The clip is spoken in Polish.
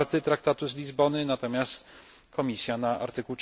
4 Traktatu z Lizbony, natomiast Komisja na art.